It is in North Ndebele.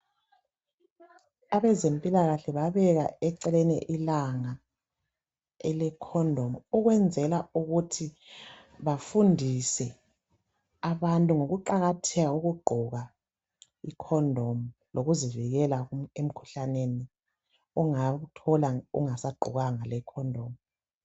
Abezempilakahle babeka eceleni ilanga ele"condom" ukwenzela ukuthi bafundise abantu ngokuqakatheka kokugqoka i"condom" lokuzivikela emikhuhlaneni ongawuthola ungasagqokanga le"condom".